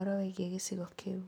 Ũhoro wĩgiĩ gĩcigo kĩu